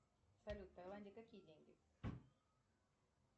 салют в тайланде какие деньги